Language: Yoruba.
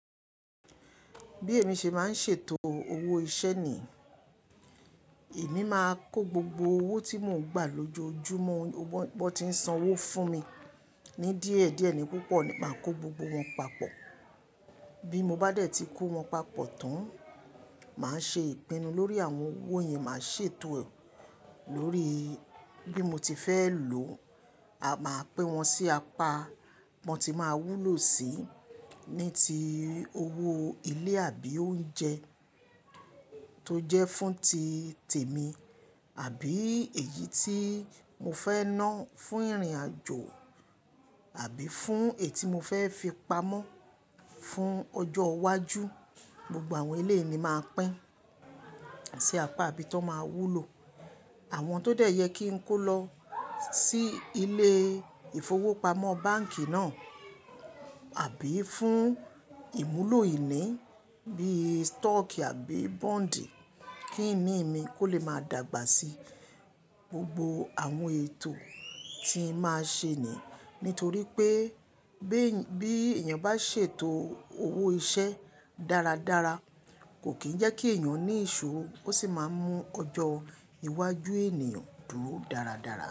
Bí èmi ṣe máa ń ṣètò owó iṣẹ́ ni, èmi máa kó gbogbo owó tí mò ń gbà lójoojúmọ́, ọwọ́ bọ́n tí ń san owó fún mi ní díẹ̀ díẹ̀ ní púpọ̀, máa kó gbogbo wọn papọ̀. Bí mo bá dẹ̀ ti kó wọn papọ̀ tán, màá ṣe ìpinnu lórí àwọn owó yẹn, màá ṣètò lórí bí mo ti fẹ́ lò ó. A máa pín wọn sí apá bọn tí máa wúlò sí, ní ti owó ilé àbí oúnjẹ tó jẹ́ fún ti tèmi àbí èyí tí mo fẹ́ ná fún ìrìnàjò àbí fún èyí tí mo fẹ́ fi pamọ́ fún ọjọ́ iwájú. Gbogbo àwọn eleyii ni màá pín sí apá tó máa wúlò. Àwọn tó dẹ̀ yẹ kí n kó lọ sí ilé ìfowópamọ́ báǹkì náà àbí fún ìmúlò ìní bí i stock àbí bond kí ìnì mi kó lè máa dàgbà sí gbogbo àwọn ètò tí màá ṣe ni. Nítorí pé bí èèyàn bá ṣètò owó iṣẹ́ dáradára, kò kì í jẹ́ kí èèyàn ní ìṣòro osì máa mú ọjọ́ iwájú ènìyàn dúró dáradára.